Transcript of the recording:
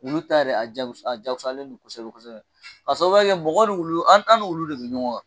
Wulu ta yɛrɛ a jagusa a jagusalen don kosɛbɛ kosɛbɛ ka sababuya kɛ mɔgɔ ni wulu an an ni wulu de bɛ ɲɔgɔn kan.